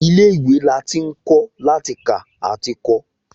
Ilé ìwé la ti ń kọ́ láti kà àti kọ